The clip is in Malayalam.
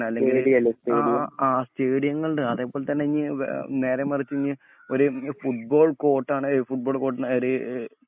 അല്ലെങ്കിൽ ആ ആ സ്റ്റേഡിയം സ്റ്റേഡിയങ്ങളുണ്ട് അതേപോലെതന്നെ ഇഞ്ഞി വേ ആ നേരെ മറിച്ചു ഇഞ് ഒരു ഫുട്‌ബോൾ കോർട്ടാണ് ഏയ് ഫുട്‌ബോൾ കോർട്ട്